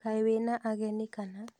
Kaĩ wĩna ageni kana?